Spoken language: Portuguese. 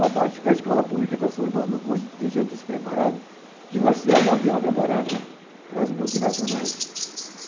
Ao passo que a escola pública está formando um contingente despreparado, que vai ser a mão de obra barata para as multinacionais.